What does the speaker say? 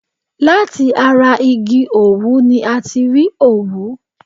Láti ara igi òwú ni a ti rí òwú.